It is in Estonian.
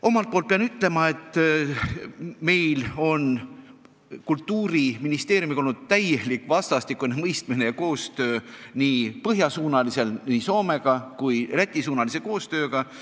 Omalt poolt pean ütlema, et meil on Kultuuriministeeriumiga olnud täielik vastastikune mõistmine ja koostöö, arendades suhteid nii põhja suunal Soomega kui ka Lätiga.